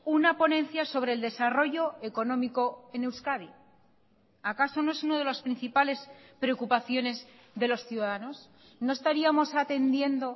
una ponencia sobre el desarrollo económico en euskadi acaso no es uno de los principales preocupaciones de los ciudadanos no estaríamos atendiendo